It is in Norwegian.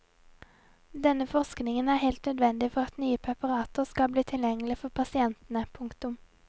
Denne forskningen er helt nødvendig for at nye preparater skal bli tilgjengelige for pasientene. punktum